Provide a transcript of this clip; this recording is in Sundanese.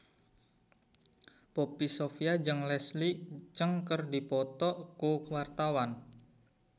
Poppy Sovia jeung Leslie Cheung keur dipoto ku wartawan